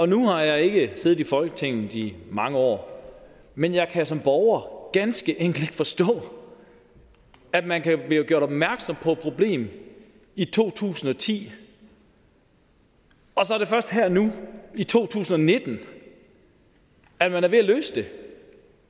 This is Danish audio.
nu har jeg ikke siddet i folketinget i mange år men jeg kan som borger ganske enkelt ikke forstå at man kan blive gjort opmærksom på et problem i to tusind og ti og så er det først her nu i to tusind og nitten at man er ved at løse det